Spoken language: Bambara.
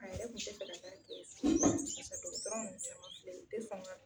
A yɛrɛ kun te fɛ ka taa kɛ pade dɔgɔtɔrɔ nunnu yɛrɛ mafilɛ u te sɔn ka